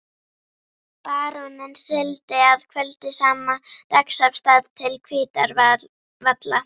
Baróninn sigldi að kvöldi sama dags af stað til Hvítárvalla.